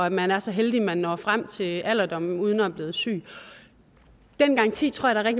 at man er så heldig at man når frem til alderdommen uden at være blevet syg den garanti tror jeg der